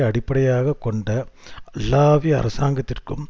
அடிப்படையாக கொண்ட அல்லாவி அரசாங்கத்திற்கும்